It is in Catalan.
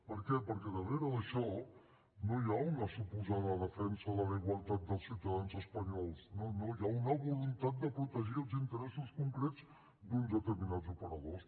per què perquè darrere d’això no hi ha una suposada defensa de la igualtat dels ciutadans espanyols no no hi ha una voluntat de protegir els interessos concrets d’uns determinats operadors